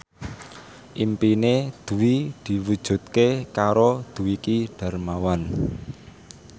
impine Dwi diwujudke karo Dwiki Darmawan